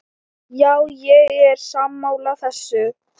Já, ég er sammála þessu.